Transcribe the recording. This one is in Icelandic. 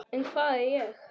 En hvað er hér?